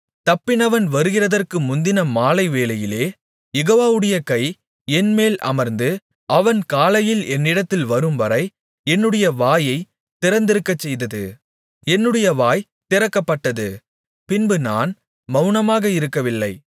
தப்பினவன் வருகிறதற்கு முந்தின மாலைவேளையிலே யெகோவாவுடைய கை என்மேல் அமர்ந்து அவன் காலையில் என்னிடத்தில் வரும்வரை என்னுடைய வாயைத் திறந்திருக்கச்செய்தது என்னுடைய வாய் திறக்கப்பட்டது பின்பு நான் மவுனமாக இருக்கவில்லை